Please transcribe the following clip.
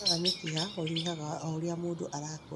hinya wa mĩkiha ũnyihaga o ũrĩa mũndũ arakũra